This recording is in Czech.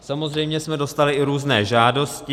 Samozřejmě jsme dostali i různé žádosti.